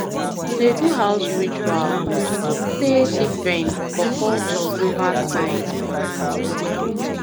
to dey do house ritual dey different for cultures over time